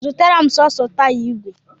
Zụtara m sọọsọ taya ìgwè!